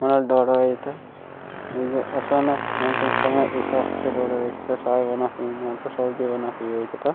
माल ढोढोई त ईग असनक अंतिम समय इसक्त डोर वेस साय बना क मिनत सब्जी बना के इतत --